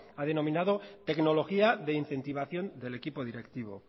ha denominado tecnología de incentivación del equipo directivo